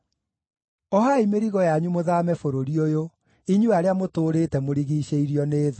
Ohai mĩrigo yanyu mũthaame bũrũri ũyũ, inyuĩ arĩa mũtũũrĩte mũrigiicĩirio nĩ thũ.